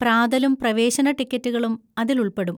പ്രാതലും പ്രവേശന ടിക്കറ്റുകളും അതിൽ ഉൾപ്പെടും.